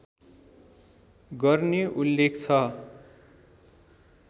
गर्ने उल्लेख छ